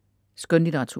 Skønlitteratur